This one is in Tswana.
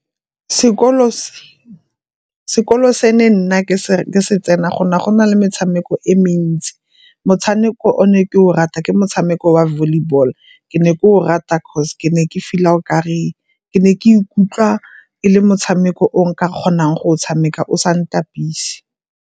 sekolo se ne nna ke se tsena go ne go na le metshameko e mentsi. Motshameko o ne ke o rata ke motshameko wa volleyball, ke ne ke o rata cause ke ne ke feel-a o kare, ke ne ka ikutlwa e le motshameko o nka kgonang go o tshameka o sa ntapise.